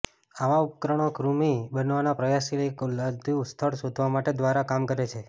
આવા ઉપકરણો કૃમિ બનાવવા પ્રયાસશીલ એક અલાયદું સ્થળ શોધવા માટે દ્વારા કામ કરે છે